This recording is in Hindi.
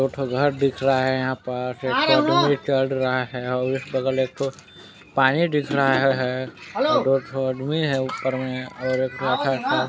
एक ठो घर दिख रहा है यहाँ पास एक ठो आदमी चल रहा हैऔर इसके बगल एक ठो पानी दिख रहा है दो ठो अदमी है ऊपर में और एक ठो --